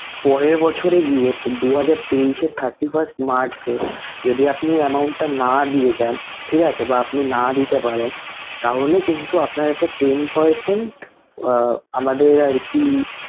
পরের বছরে গিয়ে দু হাজার তেইশ এ thirty first মার্চে যদি আপনি amount টা না দিয়ে যান, ঠিক আছে! বা আপনি না দিতে পারেন তাহলে কিন্তু আপনার একটা ten percent আমাদের আরকি